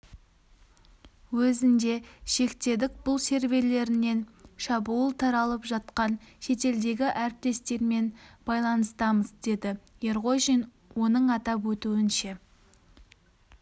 өзінде шектедік бұл серверлерінен шабуыл таралып жатқан шетелдегі әріптестермен байланыстамыз деді ерғожин оның атап өтуінше